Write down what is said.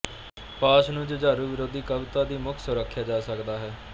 ਪਾਸ਼ ਨੂੰ ਜੁਝਾਰੂ ਵਿਰੋਧੀ ਕਵਿਤਾ ਦੀ ਮੁੱਖ ਸੁਰ ਆਖਿਆ ਜਾ ਸਕਦਾ ਹੈ